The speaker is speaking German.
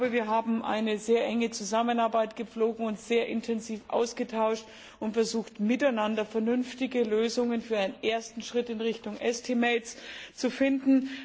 Wir haben eine sehr enge Zusammenarbeit gepflogen und uns sehr intensiv ausgetauscht und versucht, miteinander vernünftige Lösungen für einen ersten Schritt in Richtung zu finden.